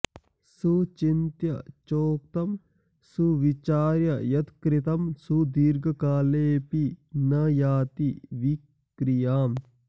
सुचिन्त्य चोक्तं सुविचार्य यत्कृतं सुदीर्घकाले पि न याति विक्रियाम्